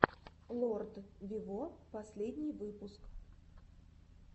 лорд виво последний выпуск